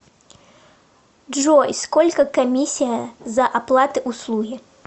джой сколько комиссия за оплаты услуги